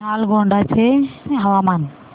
नालगोंडा चे हवामान